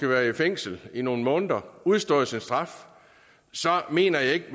været i fængsel nogle måneder og udstået sin straf så mener jeg ikke at